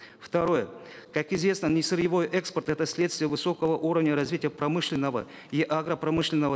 второе как известно несырьевой экспорт это следствие высокого уровня развития промышленного и агропромышленного